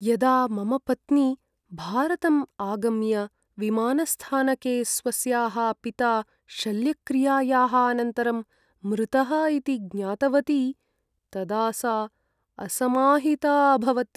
यदा मम पत्नी भारतम् आगम्य विमानस्थानके स्वस्याः पिता शल्यक्रियायाः अनन्तरं मृतः इति ज्ञातवती तदा सा असमाहिता अभवत्।